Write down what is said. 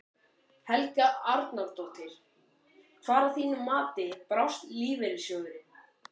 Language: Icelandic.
Helga Arnardóttir: Hvar að þínu mati brást lífeyrissjóðurinn?